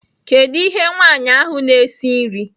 Kedu ihe nwanyị ahụ na-esi nri?